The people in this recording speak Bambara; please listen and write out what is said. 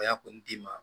d'i ma